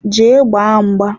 Jee gbaa mgba!